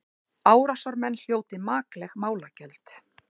Árásarmenn hljóti makleg málagjöld